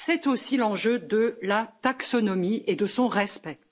C'est aussi l'enjeu de la taxonomie et de son respect.